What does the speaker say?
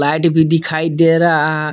light भी दिखाई दे रहा--